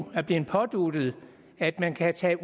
er blevet påduttet at man kan tage